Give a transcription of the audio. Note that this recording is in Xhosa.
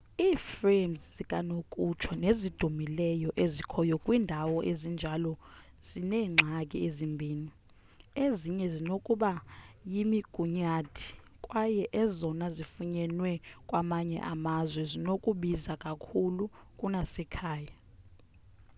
i-frames zikanokutsho nezidumileyo ezikhoyo kwiindawo ezinjalo zineengxaki ezimbini ezinye zinokuba yimigunyathi kwaye ezona zifunyenwe kwamanye amazwe zinokubiza kakhulu kunasekhaya